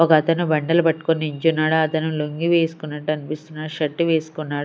ఒకతను బండలు పట్టుకొని నించున్నాడు అతను లుంగీ వేసుకున్నట్టు అనిపిస్తున్నాడు షర్ట్ వేస్కున్నాడు.